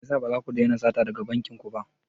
Me yasa ba za ku daina sata daga bankin ku ba?